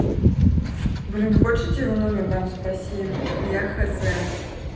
блин хочешь я тебе его номер дам спроси я хуй знает